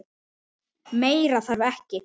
Meira þarf ekki.